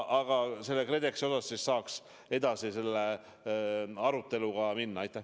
Aga jah, KredExi üle aruteluga saab edasi minna.